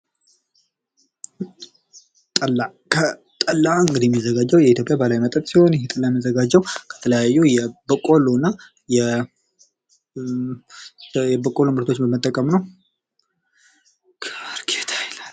ጠላ ጠላ እንግዲህ የሚዘጋጀው በኢትዮጵያ ባህላዊ መጠጥ ሲሆን ይህ መጠጥ የሚዘጋጀው ከተለያዩ የበቆሎ እና የበቆሎ ምርቶችን በመጠቀም ነው።